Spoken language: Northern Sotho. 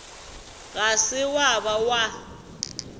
ga se wa ba wa